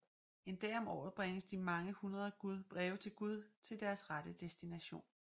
En dag om året bringes de mange hundrede breve til Gud til deres rette destination